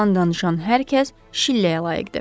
Yalan danışan hər kəs şilləyə layiqdir.